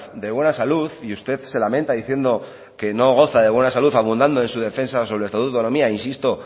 de buena salud y usted se lamenta diciendo que no goza de buena salud abundando en su defensa sobre el estatuto de autonomía insisto